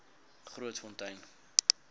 grootfontein